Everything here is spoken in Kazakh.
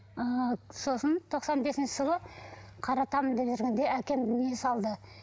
ыыы сосын тоқсан бесінші жылы қаратамын деп жүргенде әкем дүние салды